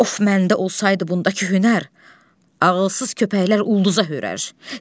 Of, məndə olsaydı bundakı hünər, ağılsız köpəklər ulduza hörər.